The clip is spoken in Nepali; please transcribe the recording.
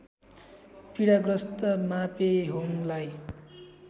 पीडा ग्रस्त मापेहोङलाई